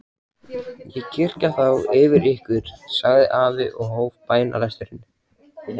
Ég kyrja þá yfir ykkur, sagði afi og hóf bænalesturinn.